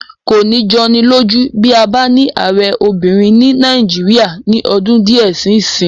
Kò ní jọni lójú bí a bá ní ààrẹ obìnrin ní Nàìjíríyà ní ọdún díẹ̀ sí ìsín